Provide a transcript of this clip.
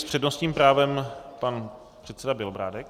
S přednostním právem pan předseda Bělobrádek.